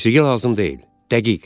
Musiqi lazım deyil, dəqiq.